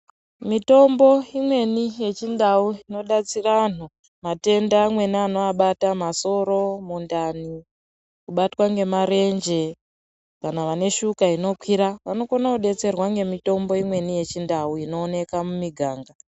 Mitombo imweni yechindau inodetsera anhu, matenda amweni anoabata, masoro, mundani, kubatwa ngemarenje ,kana vane shuka inokwira, vanokone kudetserwa ngemitombo imweni yechindau inooneka mumiganga.